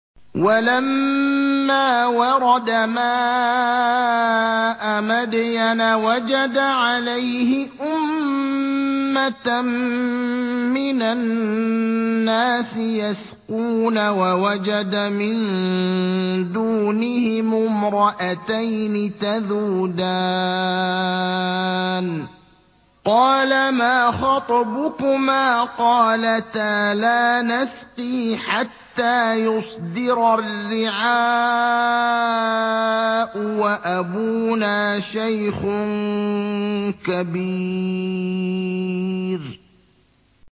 وَلَمَّا وَرَدَ مَاءَ مَدْيَنَ وَجَدَ عَلَيْهِ أُمَّةً مِّنَ النَّاسِ يَسْقُونَ وَوَجَدَ مِن دُونِهِمُ امْرَأَتَيْنِ تَذُودَانِ ۖ قَالَ مَا خَطْبُكُمَا ۖ قَالَتَا لَا نَسْقِي حَتَّىٰ يُصْدِرَ الرِّعَاءُ ۖ وَأَبُونَا شَيْخٌ كَبِيرٌ